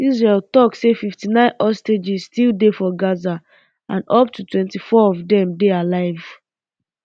israel tok say fifty-nine hostages still dey for gaza and up to twenty-four of dem um dey alive